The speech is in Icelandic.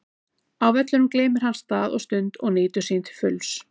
Á vellinum gleymir hann stað og stund og nýtur sín til fulls.